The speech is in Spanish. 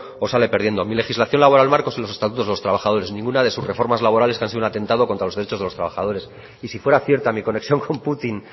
o sale perdiendo mi legislación laboral marco son el estatuto de los trabajadores ninguna de sus reformas laborales que han sido un atentado contra los derechos de los trabajadores y si fuera cierta mi conexión con putin